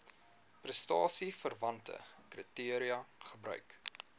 prestasieverwante kriteria gebruik